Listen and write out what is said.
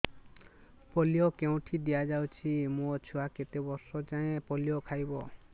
polio କେଉଁଠି ଦିଆଯାଉଛି ମୋ ଛୁଆ କେତେ ବର୍ଷ ଯାଏଁ ପୋଲିଓ ଖାଇବ